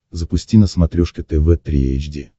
запусти на смотрешке тв три эйч ди